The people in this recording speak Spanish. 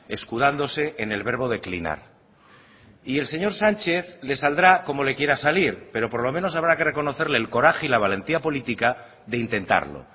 escudándose en el verbo declinar y el señor sánchez le saldrá como le quiera salir pero por lo menos habrá que reconocerle el coraje y la valentía política de intentarlo